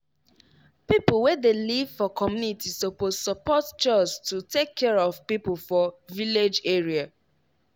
people wey dey live for community suppose support chws to take care of people for village area.